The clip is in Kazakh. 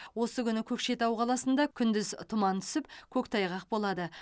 осы күні көкшетау қаласында күндіз тұман түсіп көктайғақ болады